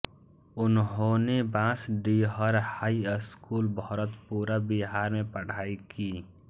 उन्होंने Bansdihar high school Bharatpura Bihar में पढ़ाई की